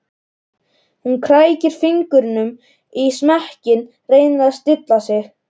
Hún krækir fingrum í smekkinn, reynir að stilla sig.